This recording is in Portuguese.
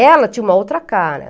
Ela tinha uma outra cara.